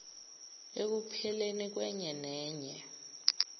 ekupheleni kwenye nenye